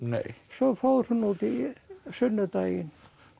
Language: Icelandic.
svo fór hún út í sunnudaginn